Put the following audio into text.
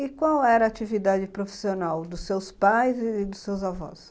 E qual era a atividade profissional dos seus pais e dos seus avós?